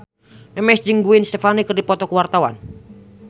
Memes jeung Gwen Stefani keur dipoto ku wartawan